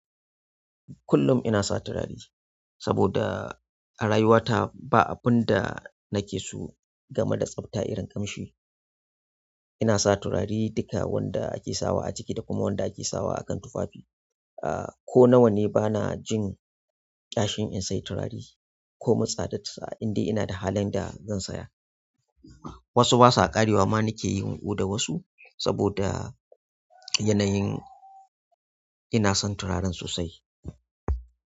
Kullum ina sa turare saboda a rayuwata ba abin da nake so game da tsafta irin ƙamshi. Ina sa turare duka wanda ake sawa a jiki da kuma wanda ake sawa a kan tufafi. Aaa ko nawa ne bana jin ƙyashin in sai turare ko min tsadarsa in dai ina da halin da zan saya. Wasu basu ƙarewa ma nake yin odar wasu saboda yanayin ina son turaren sosai.